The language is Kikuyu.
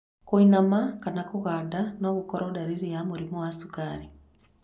Kũinaina kana kũganda no gũkoro ndariri ya mũrimũ wa cukari